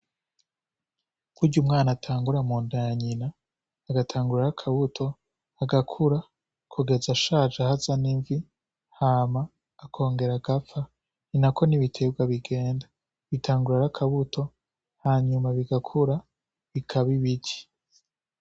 Kurya umwana atangura mu ndaya nyina agatangura ara akabuto agakura kugeza ashaje ahaza n'imvi hama akongera agapfa ni na ko n'ibitebwa bigenda bitangura ari akabuto hanyuma bigakura bikaba ibiti.